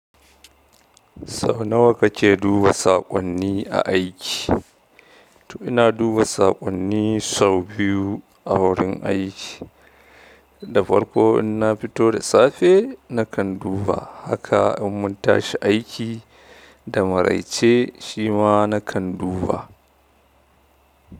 Sau nawa ka ke duba saƙonni a aiki? To ina duba saƙonni sau biyu a wurin aiki da farko in na fito da safe na kan duba, haka in mun tashi aiki da maraice shi ma na kan duba.